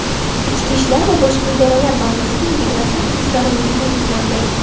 ichki ishlar va boshqa idoralar bazasiga integratsiya qilish zarurligi ta’kidlandi.